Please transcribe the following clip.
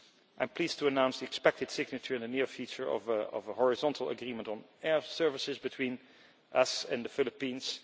I am pleased to announce the expected signature in the near future of a horizontal agreement on air services between us and the Philippines.